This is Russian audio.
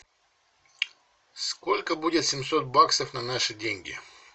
сколько будет семьсот баксов на наши деньги